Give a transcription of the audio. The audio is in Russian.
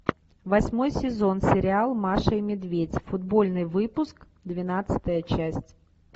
восьмой сезон сериал маша и медведь футбольный выпуск двенадцатая часть